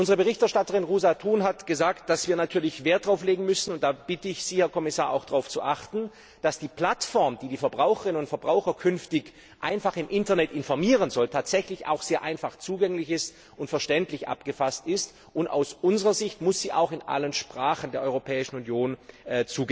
Unsere Berichterstatterin Róża Thun hat gesagt, dass wir natürlich Wert darauf legen müssen und ich bitte Sie, Herr Kommissar, auch darauf zu achten dass die Plattform, die die Verbraucherinnen und Verbraucher künftig im Internet informieren soll, tatsächlich auch sehr einfach zugänglich und verständlich abgefasst ist, und aus unserer Sicht muss sie auch in allen Sprachen der Europäischen Union verfügbar